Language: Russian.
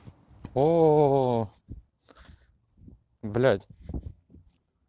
оо блядь